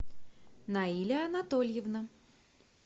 наиля анатольевна